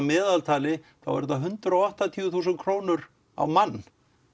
meðaltalið er um hundrað og áttatíu þúsund á mann